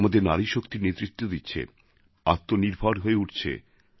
আজ আমাদের নারীশক্তি নেতৃত্ব দিচ্ছে আত্মনির্ভর হয়ে উঠছে